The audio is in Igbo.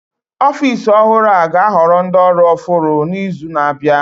Ọfịs ọhụrụ a ga-ahoro ndị ọrụ ọhụr n'izu na-abịa